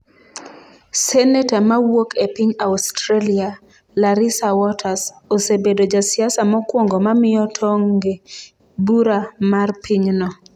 Senator mawuok e piny Australia, Larissa Waters, osebedo ja siasa mokuongo mamiyo tong' e bura mar pinyno.